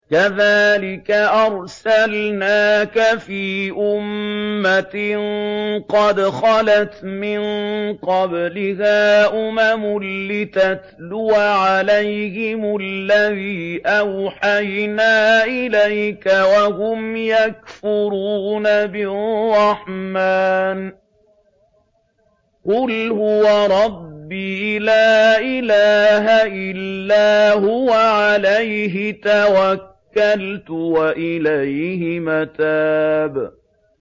كَذَٰلِكَ أَرْسَلْنَاكَ فِي أُمَّةٍ قَدْ خَلَتْ مِن قَبْلِهَا أُمَمٌ لِّتَتْلُوَ عَلَيْهِمُ الَّذِي أَوْحَيْنَا إِلَيْكَ وَهُمْ يَكْفُرُونَ بِالرَّحْمَٰنِ ۚ قُلْ هُوَ رَبِّي لَا إِلَٰهَ إِلَّا هُوَ عَلَيْهِ تَوَكَّلْتُ وَإِلَيْهِ مَتَابِ